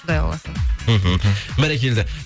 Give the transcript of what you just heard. құдай қаласа мхм бәрекелді